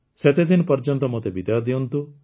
ସେତେଦିନ ପର୍ଯ୍ୟନ୍ତ ମୋତେ ବିଦାୟ ଦିଅନ୍ତୁ